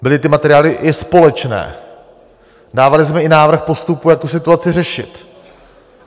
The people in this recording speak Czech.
Byly ty materiály i společné, dávali jsme i návrh postupu, jak tu situaci řešit.